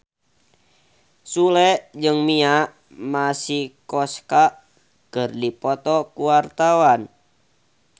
Sule jeung Mia Masikowska keur dipoto ku wartawan